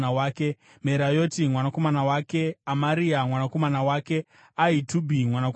Merayoti mwanakomana wake, Amaria mwanakomana wake, Ahitubhi mwanakomana wake,